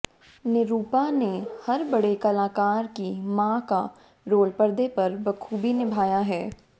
निरूपा ने हर बड़े कलाकार की मां का रोल पर्दे पर बखूबी निभाया है